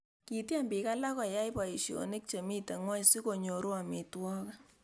kityem biik alak koyai boisionik chemito ng'weny sikunyoru amitwogik